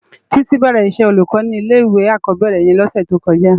Titi bèrè iṣè ólúkò ni ilé iwé ákòbèrè yèn lòsè tókòjá